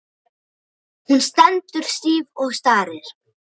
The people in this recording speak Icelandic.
Hún stendur stíf og starir.